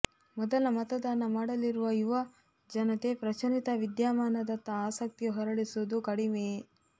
ಮೊದಲ ಮತದಾನ ಮಾಡಲಿರುವ ಯುವ ಜನತೆ ಪ್ರಚಲಿತ ವಿದ್ಯಮಾನದತ್ತ ಆಸಕ್ತಿ ಹೊರಳಿಸುವುದು ಕಡಿಮೆಯೇ